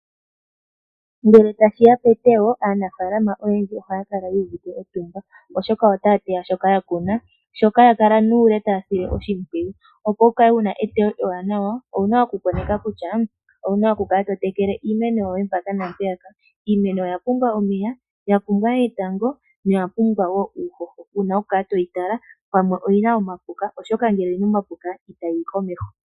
Ngele tashi ya petewo, aanafaalama oyendji ohaya kala yuuvite etumba, oshoka otaya teya shoka ya kuna, shoka ya Kala nuule taya sile oshimpwiyu, opo wu kale wu na eteyo ewanawa, owu na oku koneka kutya owuna oku kala totekele iimeno yoye mpaka naampeyaka, iimeno oya pumbwa omeya, ya pumbwa etango, noya pumbwa woo uuhoho, owuna kukala toyi tala pamwe oyi na omapuka oshoka ngele oyi na omapuka itayi yi komeho.